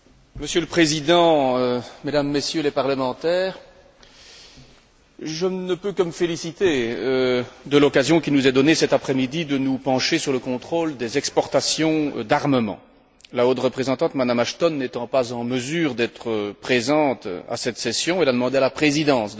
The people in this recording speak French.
Monsieur le Président, Mesdames et Messieurs les parlementaires, je ne peux que me féliciter de l'occasion qui nous est donnée cet après midi de nous pencher sur le contrôle des exportations d'armements. La haute représentante, Mme Ashton, n'étant pas en mesure d'être présente à cette session, elle a demandé à la Présidence